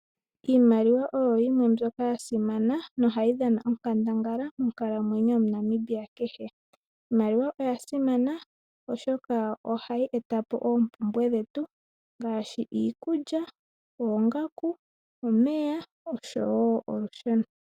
Iimaliwa oyo yimwe mbyoka yasimana molwaashoka ohayi dhana onkandangala monkalamwenyo yomuNamibia kehe. Iimaliwa oyasimana oshoka ohayi etapo oompumbwe ngaashi iikulya, oongaku, omeya oshowoo olusheno.